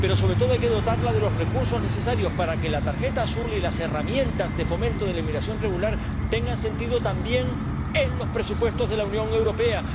Pero sobre todo, hay que dotarla de los recursos necesarios para que la tarjeta azul y las herramientas de fomento de la inmigración regular tengan sentido también en los presupuestos de la Unión Europea.